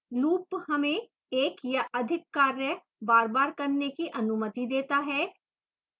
loop हमें एक या अधिक कार्य बारबार करने की अनुमति देता है